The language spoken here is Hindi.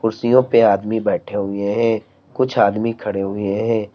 कुर्सियों पे आदमी बैठे हुए हैं कुछ आदमी खड़े हुए हैं।